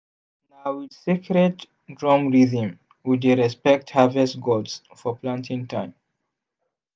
na with sacred drum rhythm we dey respect harvest gods for planting time.